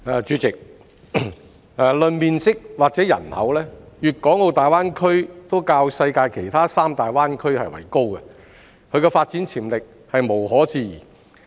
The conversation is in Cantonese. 代理主席，論面積和人口，粵港澳大灣區都較世界其他三大灣區為高，其發展潛力無可置疑。